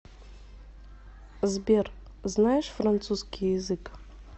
сбер знаешь французский язык